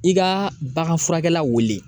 I ka bagan furakɛ la wele